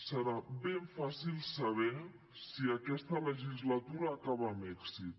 serà ben fàcil saber si aquesta legislatura acaba amb èxit